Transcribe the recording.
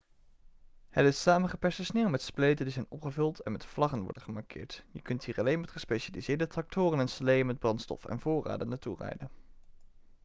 het is samengeperste sneeuw met spleten die zijn opgevuld en met vlaggen worden gemarkeerd je kunt hier alleen met gespecialiseerde tractoren en sleeën met brandstof en voorraden naartoe rijden